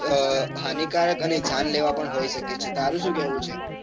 અ હાનીકારક અને જાન લેવા પણ હોઈ શકે છે. તારું શું કેવું છે?